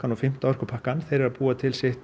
og fimmta orkupakkann þeir eru að búa til sitt